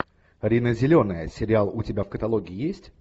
рина зеленая сериал у тебя в каталоге есть